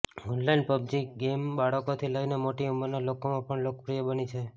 online PUBG game બાળકોથી લઇને મોટી ઉંમરના લોકોમાં પણ લોકપ્રિય બની છે